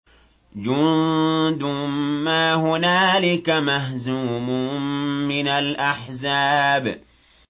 جُندٌ مَّا هُنَالِكَ مَهْزُومٌ مِّنَ الْأَحْزَابِ